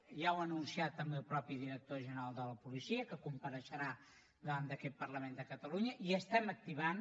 ja ho ha anunciat també el mateix director general de la policia que compareixerà davant d’aquest parlament de catalunya i estem activant